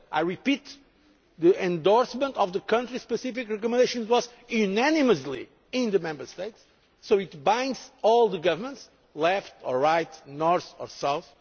agreed. I repeat the endorsement of the country specific recommendations was unanimous in the Member States, so it combines all the governments, left, right, north and